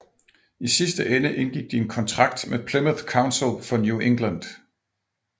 I sidste ende indgik de en kontrakt med Plymouth Council for New England